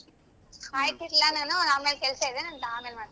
ಆಯ್ತು ಇಡ್ಲ ನಾನು ಆಮೇಲ್ ಕೆಲ್ಸ ಇದೆ ನಂದ್ ಆದ್ಮೇಲೆ ಮಾಡ್ತೀನ್.